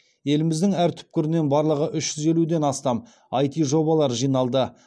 еліміздің әр түкпірінен барлығы үш жүз елуден астам іт жобалар жиналды